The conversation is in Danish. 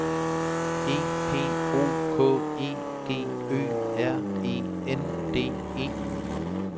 E P O K E G Ø R E N D E